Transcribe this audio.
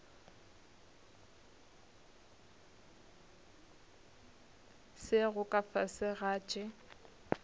sego ka fase ga tše